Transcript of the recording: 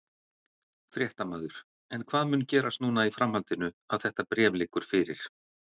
Fréttamaður: En hvað mun gerast núna í framhaldinu að þetta bréf liggur fyrir?